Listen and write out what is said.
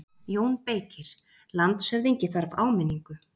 JÓN BEYKIR: Landshöfðingi þarf áminningu.